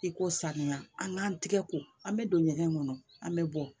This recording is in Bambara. I ko saniya an k'an tigɛ ko an bɛ don ɲɛgɛn kɔnɔ an bɛ bɔ